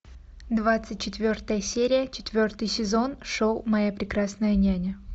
двадцать четвертая серия четвертый сезон шоу моя прекрасная няня